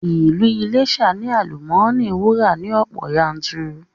Ilu Iléṣà ni àlùmọ́nì wúrà ni ọ̀pọ̀ yanturu